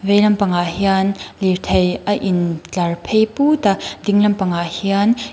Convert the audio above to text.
vei lampangah hian lirthei a in tlar phei pût a ding lampangah hian ih--